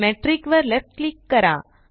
metric वर left click करा